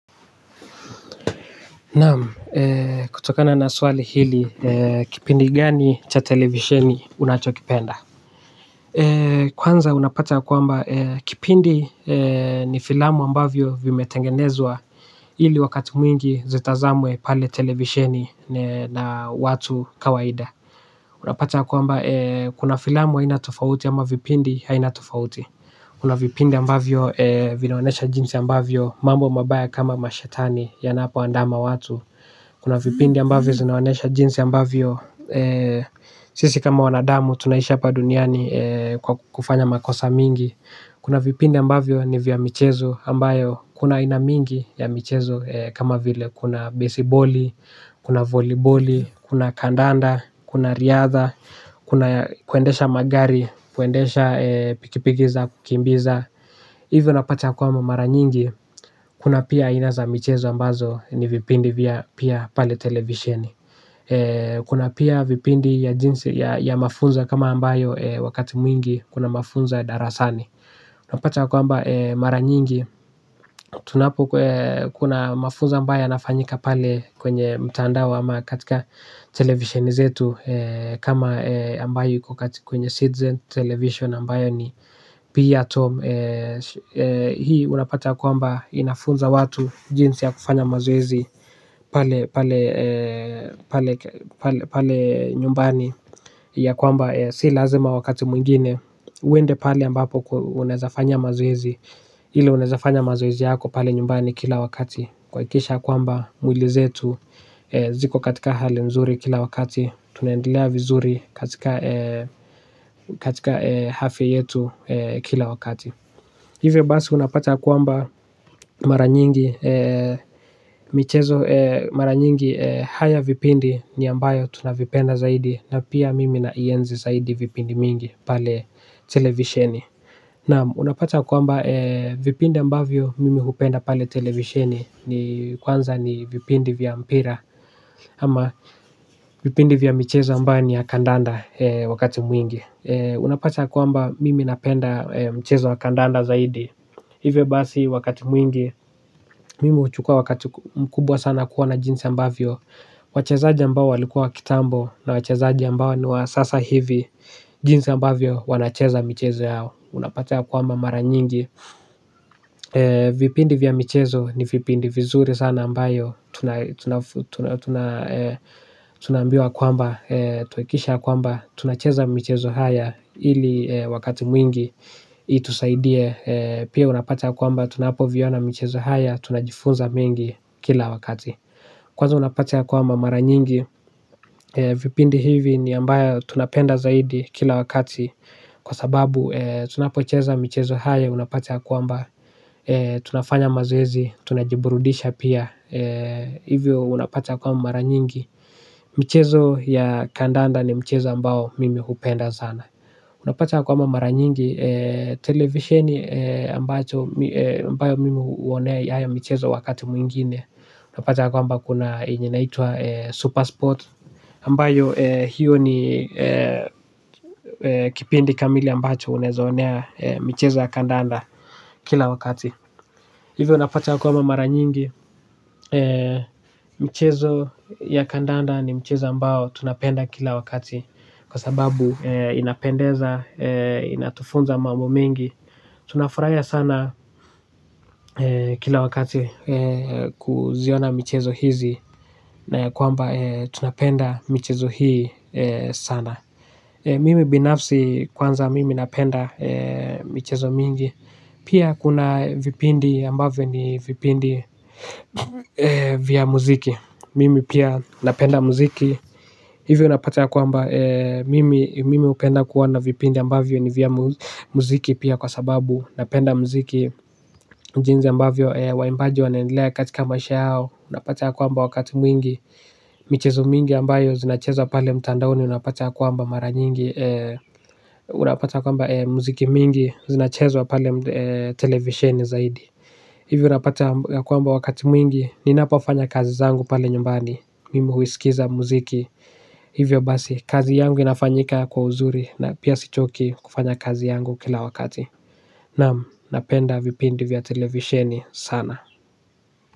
Naam kutokana na swali hili kipindi gani cha televisheni unachokipenda. Kwanza unapata kwamba kipindi ni filamu ambavyo vimetengenezwa ili wakati mwingi zitazamwe pale televisheni na watu kawaida. Unapata ya kwamba kuna filamu haina tofauti ama vipindi haina tofauti kuna vipindi ambavyo vinaonyesha jinsi ambavyo mambo mabaya kama mashetani yanapoandama watu. Kuna vipindi ambavyo zinaonesha jinsi ambavyo sisi kama wanadamu tunaishi hapa duniani kwa kufanya makosa mingi. Kuna vipindi ambavyo ni vya michezo ambayo kuna haina mingi ya michezo kama vile kuna baseboli, kuna volleyboli, kuna kandanda, kuna riadha. Kuna kuendesha magari, kuendesha pikipiki za, kukimbiza hivyo napata ya kwamba mara nyingi. Kuna pia haina za michezo ambazo ni vipindi vya pia pale televisheni. Kuna pia vipindi ya jinsi ya mafunzo kama ambayo wakati mwingi kuna mafunzo ya darasani. Napata ya kwamba mara nyingi tunapo kuna mafunzo ambayo yanafanyika pale kwenye mtandao ama katika televisheni zetu kama ambayo iko kwenye citizen television ambayo ni pia hii unapata ya kwamba inafunza watu jinsi ya kufanya mazoezi. Pale nyumbani ya kwamba si lazima wakati mwingine uende pale ambapo unaezafanyia mazoezi. Ila unaeza fanya mazoezi yako pale nyumbani kila wakati. Kuhakikisha kwamba mwili zetu ziko katika hali nzuri kila wakati. Tunaendelea vizuri katika afya yetu kila wakati. Hivyo basi unapata ya kwamba mara nyingi michezo mara nyingi haya vipindi ni ambayo tunavipenda zaidi. Na pia mimi na ienzi zaidi vipindi mingi pale televisheni. Naam, unapata kwamba vipindi ambavyo mimi hupenda pale televisheni. Kwanza ni vipindi vya mpira. Ama vipindi vya michezo ambayo ni ya kandanda wakati mwingi. Unapata kwamba mimi napenda mchezo wa kandanda zaidi. Hivyo basi wakati mwingi mimi huchukua wakati mkubwa sana kuwa na jinsi ambavyo wachezaji ambao walikuwa wa kitambo na wachezaji ambao ni wa sasa hivi. Jinsi ambavyo wanacheza michezo yao. Unapata ya kwamba mara nyingi vipindi vya mchezo ni vipindi vizuri sana ambayo tunaambiwa kwamba tuhakikishe kwamba tunacheza michezo haya. Ili wakati mwingi Itusaidie. Pia unapata ya kwamba tunapoviona michezo haya. Tunajifunza mengi kila wakati. Kwanza unapata ya kwamba mara nyingi vipindi hivi ni ambayo tunapenda zaidi kila wakati. Kwa sababu tunapocheza michezo hayo. Unapata ya kwamba tunafanya mazoezi. Tunajiburudisha pia. Hivyo unapata kwamba mara nyingi. Michezo ya kandanda ni mchezo ambao mimi hupenda sana. Unapata kwamba mara nyingi televisheni ambayo mimi huonea hayo michezo wakati mwingine. Unapata kwamba kuna yenye inaitwa Supersport Ambayo hiyo ni kipindi kamili ambacho unaeza onea michezo ya kandanda kila wakati. Hivyo unapata ya kwamba mara nyingi mchezo ya kandanda ni mchezo ambao tunapenda kila wakati. Kwa sababu inapendeza, inatufunza mambo mengi. Tunafurahia sana kila wakati kuziona michezo hizi na ya kwamba tunapenda michezo hii sana. Mimi binafsi kwanza mimi napenda michezo mingi. Pia kuna vipindi ambavyo ni vipindi vya muziki mimi pia napenda muziki. Hivyo unapata ya kwamba mimi hupenda kuwa na vipindi ambavyo ni vya muziki pia kwa sababu napenda muziki jinsi ambavyo waimbaji wanaendelea katika maisha yao. Unapata ya kwamba wakati mwingi michezo mingi ambayo zinacheza pale mtandaoni unapata ya kwamba mara nyingi unapata ya kwamba muziki mingi zinachezwa pale televisheni zaidi. Hivi unapata ya kwamba wakati mwingi ninapofanya kazi zangu pale nyumbani. Mimu huiskiza muziki. Hivyo basi, kazi yangu inafanyika kwa uzuri. Na pia sichoki kufanya kazi yangu kila wakati. Naam, napenda vipindi vya televisheni sana.